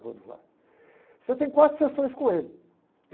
Em Buenos Aires. Você tem quatro sessões com ele.